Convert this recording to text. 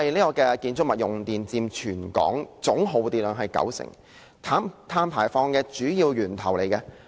建築物用電佔全港總耗電量九成，是碳排放的主要源頭。